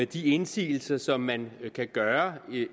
de indsigelser som man kan gøre